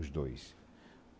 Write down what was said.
Os dois.